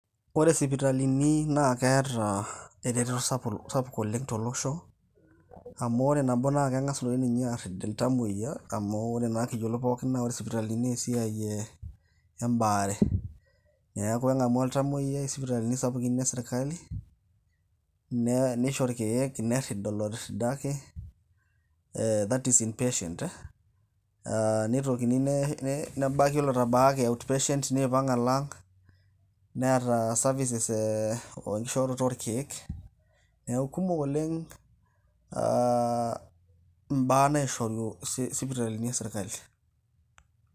Ore isipitalini na keeta ereteto sapuk oleng' tolosho. Amu ore nabo na keng'as toi ninye arrip iltamoyia, amu ore na kiyiolo pookin, na ore isipitalini na esiai ebaare. Neeku eng'amu oltamoyiai isipitalini sapukin esirkali, nishoo irkeek, nerrid olotirridaki. Eh that's in patent. Nitokini nebaki olotabaaki out patient ,niipang' alo ang',neeta services e oishorita orkeek. Neeku kumok oleng ,ah imbaa naishoru isipitalini esirkali.